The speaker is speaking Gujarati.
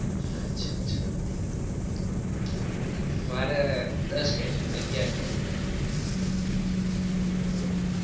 અચ્છા અચ્છા મારે દસ કે છે અગિયાર કે હમ